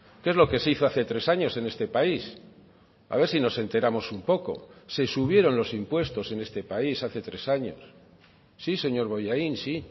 que es lo que se hizo hace tres años en este país a ver si nos enteramos un poco se subieron los impuestos en este país hace tres años sí señor bollain sí